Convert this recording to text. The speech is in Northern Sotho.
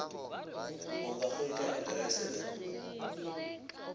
o ka hwetša aterese le